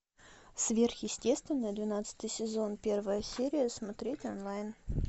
сверхъестественное двенадцатый сезон первая серия смотреть онлайн